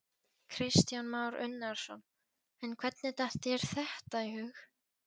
Kristján Már Unnarsson: En hvernig datt þér þetta í hug?